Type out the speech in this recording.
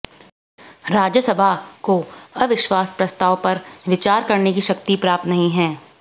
राज्यसभा को अविश्वास प्रस्ताव पर विचार करने की शक्ति प्राप्त नहीं है